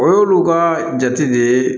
O y'olu ka jate de ye